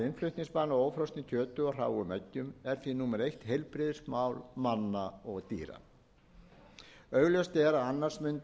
innflutningsbann á ófrosnu kjöti og hráum eggjum er því númer eitt heilbrigðismál manna og dýra augljóst er að annars